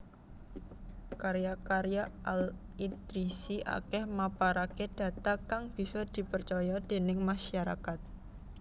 Karya karya Al Idrisi akèh maparaké data kang bisa dipercaya déning masarakat